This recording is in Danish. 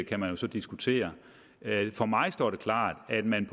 kan man jo så diskutere for mig står det klart at man